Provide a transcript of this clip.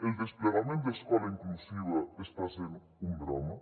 el desplegament d’escola inclusiva està sent un drama